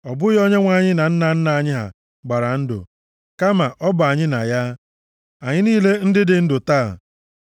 Ọ bụghị Onyenwe anyị na nna nna anyị ha gbara ndụ, kama ọ bụ anyị na ya, anyị niile ndị dị ndụ taa.